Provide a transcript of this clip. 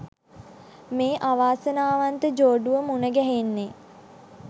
මේ අවාසනාවන්ත ජෝඩුව මුනගැහෙන්නේ.